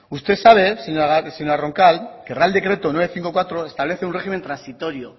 usted sabe señora roncal que el real decreto novecientos cincuenta y cuatro establece un régimen transitorio